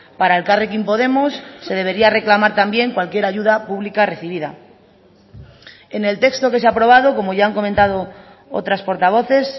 para elkarrekin podemos se debería reclamar también cualquier ayuda pública recibida en el texto que se ha aprobado como ya han comentado otras portavoces